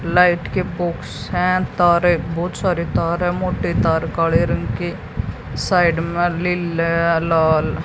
light के box हैं तारे बहोत सारे तार है मोटे तार काड़े रंग के साइड में लिले अ लाल--